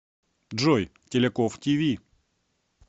джой теляков ти ви